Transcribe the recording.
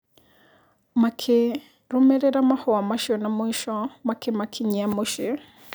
Makĩrũmĩrĩra mahũa macio na mũico makĩmakinyia mũciĩ.